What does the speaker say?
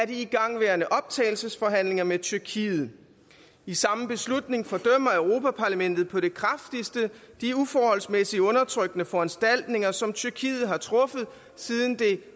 de igangværende optagelsesforhandlinger med tyrkiet i samme beslutning fordømmer europa parlamentet på det kraftigste de uforholdsmæssige undertrykkende foranstaltninger som tyrkiet har truffet siden det